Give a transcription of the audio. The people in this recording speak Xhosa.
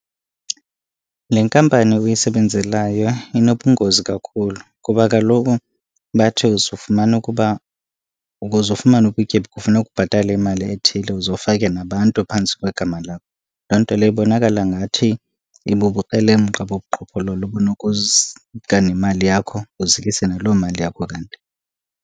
Le nkampani uyisebenzelayo inobungozi kakhulu. Kuba kaloku bathi uzofumana ukuba, ukuze ufumane ubutyebi kufuneka ubhatale imali ethile uze ufake nabantu phantsi kwegama lakho. Loo nto leyo ibonakala ngathi ibubukrelemqa bobuqhophololo nemali yakho, uzikise naloo mali yakho kanti.